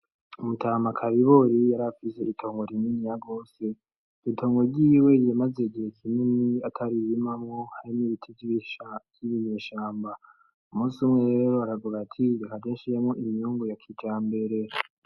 Umutama akaribori yari afise ritongo rininiya gose ritongo ryiwe riyimaze gihe kinini ataririmamwo harimibiti vysvy'ibinyeshamba umusi umwewe baraguraati igikagenshi yamwo iminyungu ya kija mberera.